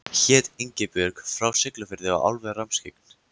Hét Ingibjörg, var frá Siglufirði og alveg rammskyggn.